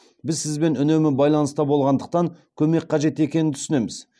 біз сізбен үнемі байланыста болғандықтан көмек қажет екенін түсінеміз